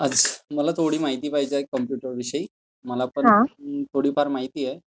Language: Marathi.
मला थोडी माहिती पाहिजे कॉम्प्युटर विषयी. मला पण थोडीफार माहिती आहे.